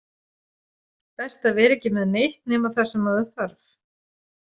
Best að vera ekki með neitt nema það sem maður þarf.